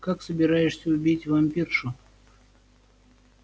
как собираешься убить вампиршу